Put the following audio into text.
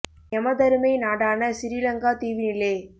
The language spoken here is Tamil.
எமதருமை நாடான சிறிலங்கா தீவினிலே